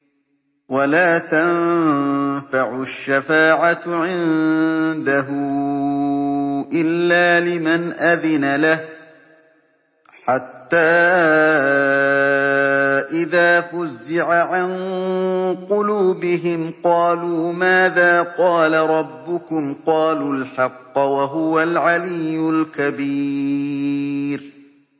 وَلَا تَنفَعُ الشَّفَاعَةُ عِندَهُ إِلَّا لِمَنْ أَذِنَ لَهُ ۚ حَتَّىٰ إِذَا فُزِّعَ عَن قُلُوبِهِمْ قَالُوا مَاذَا قَالَ رَبُّكُمْ ۖ قَالُوا الْحَقَّ ۖ وَهُوَ الْعَلِيُّ الْكَبِيرُ